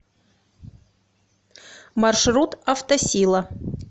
маршрут автосила